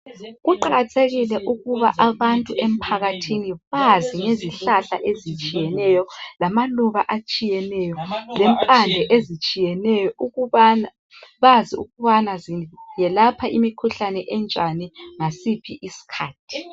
Kuqakathekile ukuba abantu emphakathini bazi ngezihlahla ezitshiyeneyo lamaluba atshiyeneyo lempande ezitshiyeneyo ukubana bazi ukubana ziyelapha imikhuhlane enjani ngasiphi isikhathi.